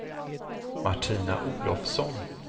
Martina Olofsson